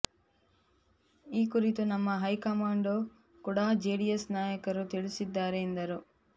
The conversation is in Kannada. ಈ ಕುರಿತು ನಮ್ಮ ಹೈಕಮಾಂಡ್ಗೂ ಕೂಡಾ ಜೆಡಿಎಸ್ ನಾಯಕರು ತಿಳಿಸಿದ್ದಾರೆ ಎಂದರು